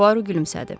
Puaro gülümsədi.